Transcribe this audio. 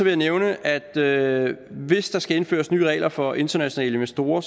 jeg nævne at hvis der skal indføres nye regler for internationale investorer